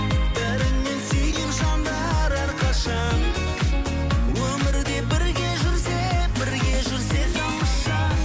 бәрінен сүйген жандар әрқашан өмірде бірге жүрсе бірге жүрсе тамаша